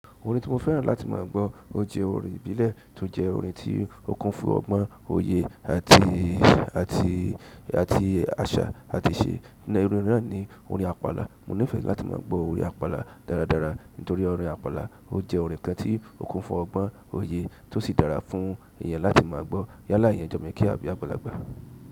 Orin tí mo fẹ́ràn láti má a gbọ́, ó jẹ́ orin ìbílẹ̀ tó jẹ́ orin tí ó kún fún ọgbọ́n, òye àti, àti, àti àṣà àti iṣẹ́. Iru orin náà ni orin àpála. Mo nífẹ̀ẹ́ láti má a gbọ́ orin àpàlà dáradára nítorí orin àpàlà ó jẹ́ orin kan tí ó kún fún ọgbọ́n, òye tó sì dára fún èyàn láti máa gbọ́ yálá eyàn jọmo kékeré àbí agbàlàgbà.